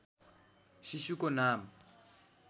शिशुको नाम